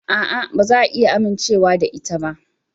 A'a, ba za a iya amincewa da ita ba.